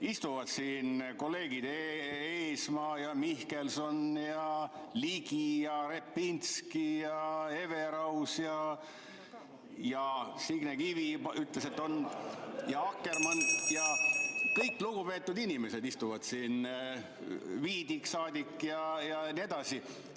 Istuvad siin kolleegid Eesmaa ja Mihkelson ja Ligi ja Repinski ja Everaus, Signe Kivi ütles, et on, ja Akkermann ja kõik lugupeetud inimesed istuvad siin, Viidik-saadik ja nii edasi.